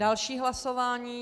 Další hlasování.